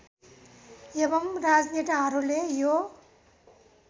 एवं राजनेताहरूले यो